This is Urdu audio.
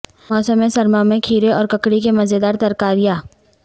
موسم سرما میں کھیرے اور ککڑی کے مزیدار ترکاریاں